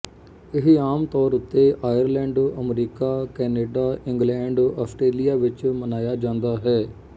ਇਹ ਆਮ ਤੌਰ ਉੱਤੇ Ireland America Canada England Australia ਵਿੱਚ ਮਨਾਇਆ ਜਾਂਦਾ ਹੈ